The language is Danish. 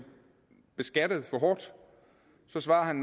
beskattet for hårdt så svarer han